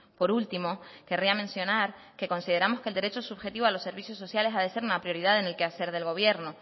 por último querría mencionar que consideramos que el derecho subjetivo a los servicios sociales ha de ser una prioridad en el quehacer del gobierno